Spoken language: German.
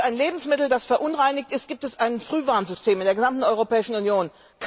Für ein Lebensmittel, das verunreinigt ist, gibt es ein Frühwarnsystem in der gesamten Europäischen Union.